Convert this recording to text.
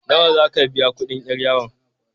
Nawa za ka biya kuɗin 'yar yawon?